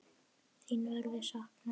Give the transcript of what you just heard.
Þín verður saknað.